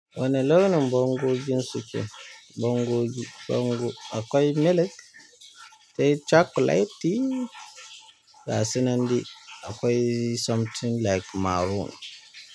Wane launin bangogin su ke? Bango gi bango akwai milk, sai chocolate di, ga su nan dai akwai something like maroon.